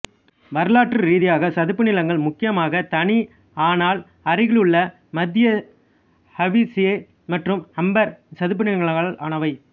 வரலாற்று ரீதியாக சதுப்பு நிலங்கள் முக்கியமாக தனி ஆனால் அருகிலுள்ள மத்திய ஹவிசே மற்றும் ஹம்மர் சதுப்பு நிலங்களால் ஆனவை